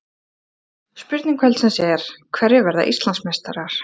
Spurning kvöldsins er: Hverjir verða Íslandsmeistarar?